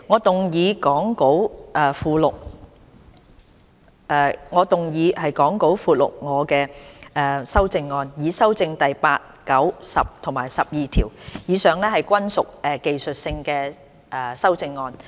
主席，我動議講稿附錄我的修正案，以修正第8、9、10及12條，以上均屬技術性修正案。